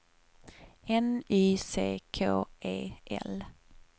N Y C K E L